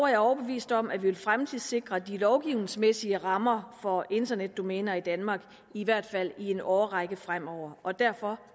jeg overbevist om at vi vil fremtidssikre de lovgivningsmæssige rammer for internetdomæner i danmark i hvert fald i en årrække fremover og derfor